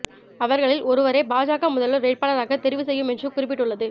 அவர்களில் ஒருவரை பாஜக முதல்வர் வேட்பாளராக தெரிவு செய்யும் என்று குறிப்பிட்டுள்ளது